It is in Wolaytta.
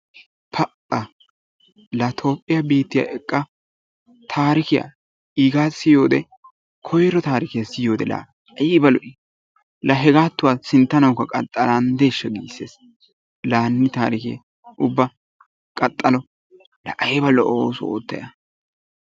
Pa"a! la Toophphiyaa biittiya eqqa taarikiya iigaa siyiyode koyiro taarikiya siyiyode la ayba lo"ii la hegaattuwa sinttanawukka qaxxalanddeeshsha giissees. La hanni taarikee ubba qaxxalo la ayba lo"o ooso oottayi a.